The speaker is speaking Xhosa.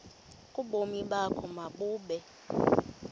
ubomi bakho mabube